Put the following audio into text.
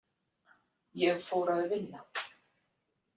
Ég fór að vinna.